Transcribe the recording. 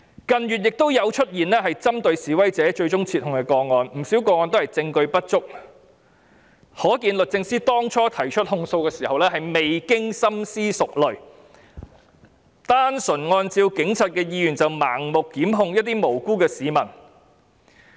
近月，亦有出現針對示威者但最終撤控的個案，不少個案都是證據不足，可見律政司當初提出訴訟時，未經深思熟慮，單純按照警察的意願便盲目檢控無辜的市民。